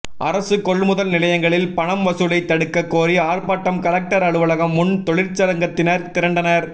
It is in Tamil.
அரசு கொள்முதல் நிலையங்களில் பணம் வசூலை தடுக்க கோரி ஆர்ப்பாட்டம் கலெக்டர் அலுவலகம் முன் தொழிற்சங்கத்தினர் திரண்டனர்